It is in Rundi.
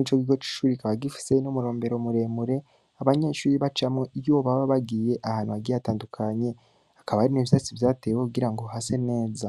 Ico kigo c'ishure kikaba gifise n'umurombero muremure abanyeshure bahora bacamwo iyo bagiye ahantu hagiye hatandukanye. Hakaba hari n'ivyatsi vyatewe kugira ngo hase neza.